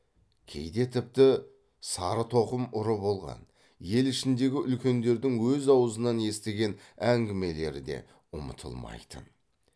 кейде тіпті сарытоқым ұры болған ел ішіндегі үлкендердің өз аузынан естіген әңгімелері де ұмытылмайтын